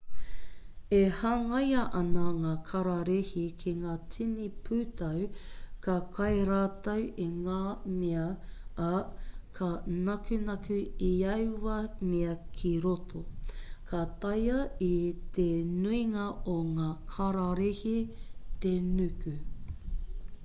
e hangaia ana ngā kararehe ki ngā tini pūtau ka kai rātou i ngā mea ā ka nakunaku i aua mea ki roto ka taea e te nuinga o ngā kararehe te nuku